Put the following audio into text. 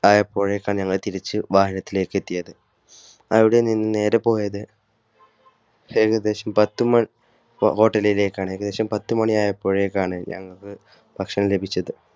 ആയപ്പോഴേക്കാണ് ഞങ്ങൾ തിരിച്ചു വാഹനത്തിലേക്കെത്തിയത്അവിടെ നിന്നും നേരെ പോയത് ഏകദേശംപത്തുമണി hotel ലേക്ക് ആണ് ഏകദേശം പത്തുമണി ആയപ്പോഴേക്കാണ് ഞങ്ങൾക്ക് ഭക്ഷണം ലഭിച്ചത്